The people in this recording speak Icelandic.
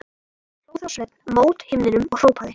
Hló þá Sveinn mót himninum og hrópaði: